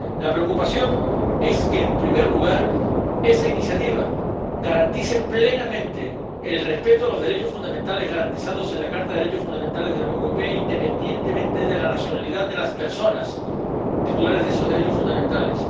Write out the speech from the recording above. La preocupación es, en primer lugar, que esa iniciativa garantice plenamente el respeto a los derechos fundamentales garantizados en la Carta de los Derechos Fundamentales de la Unión Europea, independientemente de la nacionalidad de las personas titulares de esos derechos fundamentales